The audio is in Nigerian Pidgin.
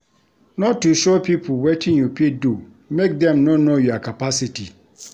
No too show pipo wetin you fit do make dem no know your capacity.